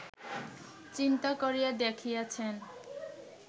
চিন্তা করিয়া দেখিয়াছেন